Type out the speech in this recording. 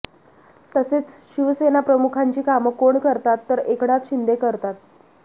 तसेच शिवसेनाप्रमुखांची कामं कोण करतात तर एकनाथ शिंदे करतात